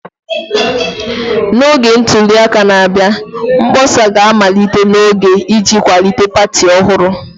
N'oge ntuli aka na-abịa, mkpọsa ga-amalite n'oge iji kwalite pati ọhụrụ